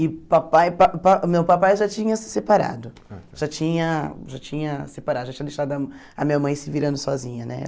E pai pa pa meu papai já tinha se separado, já tinha já tinha separado, já tinha deixado a a minha mãe se virando sozinha, né?